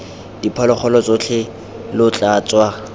diphologolo tsotlhe lo tla tswa